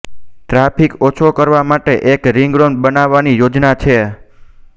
traffic ઓછો કરવા માટે એક રિંગ રોડ બનાવવાની યોજના છે